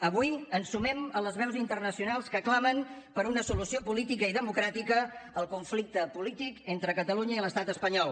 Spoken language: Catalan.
avui ens sumem a les veus internacionals que clamen per una solució política i democràtica al conflicte polític entre catalunya i l’estat espanyol